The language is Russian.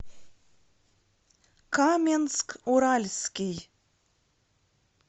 каменск уральский